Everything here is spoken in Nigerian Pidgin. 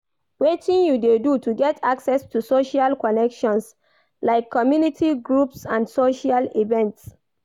Wetin you dey do to get access to social connections, like community groups and social events?